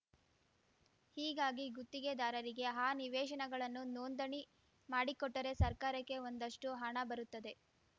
ಹೀಗಾಗಿ ಗುತ್ತಿಗೆದಾರರಿಗೆ ಆ ನಿವೇಶನಗಳನ್ನು ನೋಂದಣಿ ಮಾಡಿಕೊಟ್ಟರೆ ಸರ್ಕಾರಕ್ಕೆ ಒಂದಷ್ಟುಹಣ ಬರುತ್ತದೆ